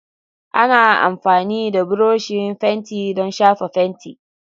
Ana amfani da buroshi fenti don shafa fenti.